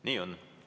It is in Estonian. Nii on.